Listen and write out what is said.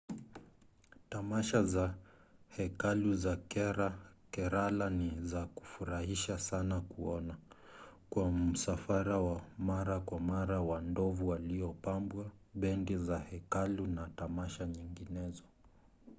tamasha za hekalu za kerala ni za kufurahisha sana kuona kwa msafara wa mara kwa mara wa ndovu waliopambwa bendi za hekalu na tamasha nyinginezo